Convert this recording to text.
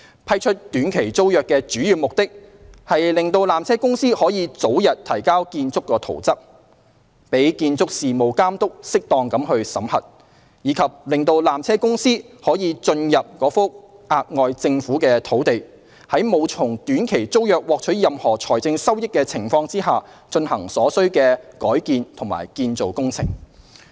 批出短期租約的主要目的是讓纜車公司可早日提交建築圖則，供建築事務監督適當審核，以及讓纜車公司得以進入該幅額外政府土地，在沒有從短期租約獲取任何財政收益的情況下，進行所需的改建及建造工程。